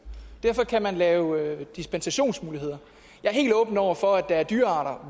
og derfor kan man lave dispensationsmuligheder jeg er helt åben over for at der er dyrearter